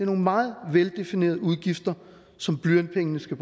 nogle meget veldefinerede udgifter som blyantspengene skal